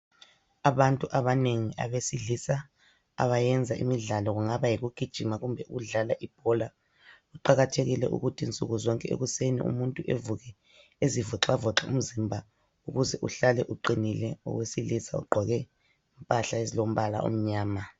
Abantu abanengi abesilisa abayenza imidlalo, kungaba yikugijima kumbe ukudlala ibhola kuqakathekile ukuthi nsukuzonke ekuseni umuntu evuke ezivoxavoxa umzimba ukuze uhlale uqinile. Owesilisa ugqoke impahla ezilombala omnyama.